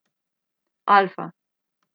Alfa.